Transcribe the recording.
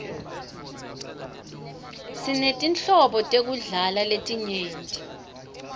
sinetinhlobo tekudla letinyenti